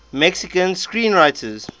mexican screenwriters